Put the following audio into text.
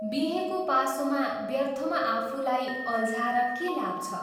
बिहेको पासोमा व्यर्थमा आफूलाई अल्झाएर के लाभ छ?